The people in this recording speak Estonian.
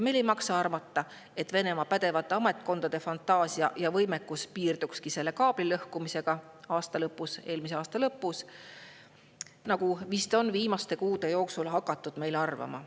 Meil ei maksa arvata, et Venemaa pädevate ametkondade fantaasia ja võimekus piirduski selle kaabli lõhkumisega eelmise aasta lõpus, nagu on vist viimaste kuude jooksul hakatud meil arvama.